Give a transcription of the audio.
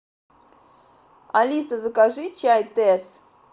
алиса закажи чай тесс